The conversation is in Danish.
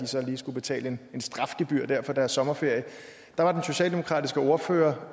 så lige skulle betale et strafgebyr for deres sommerferie var den socialdemokratiske ordfører